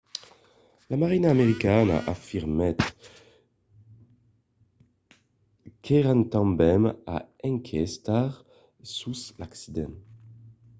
la marina americana afirmèt qu’èran tanben a enquestar sus l’incident